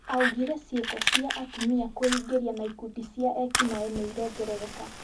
augire ciĩko cia atumia kwĩingĩria na ikundi cia eki naĩ niirongerereka